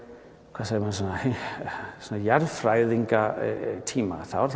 hvað segir maður svona jarðfræðingatíma þá er